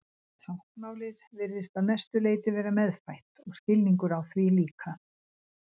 Táknmálið virðist að mestu leyti vera meðfætt og skilningur á því líka.